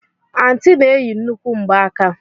Anti na-eyi nnukwu ngbaaka.